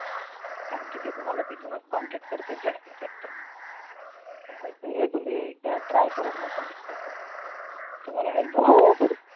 कारण कि ते तुम्हाला तिथूनच contact करतात जास्त तर हे तुम्ही एकदा try करून बघा Linkdin वर तुम्हाला help होईल